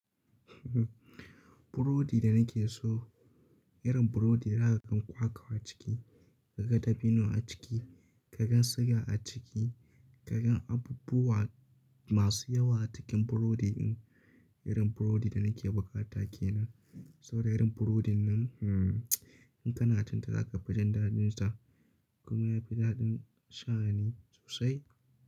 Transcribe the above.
Burodi da nake so, irin burodi da zaka gan kwakwa a ciki, ka ga dabino a ciki, ka gan siga a ciki, ka gan abubuwa masu yawa a cikin burodi din. Irin burodi da nake bukata kenan. Sau da irin burodi nan, in kana cin ta zaka fi jin daɗin ta. Kuma yafi daɗin sha'ani sosai.